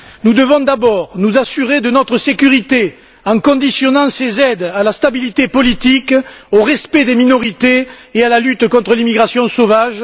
Nous devons d'abord nous assurer de notre sécurité en conditionnant ces aides à la stabilité politique, au respect des minorités et à la lutte contre l'immigration sauvage.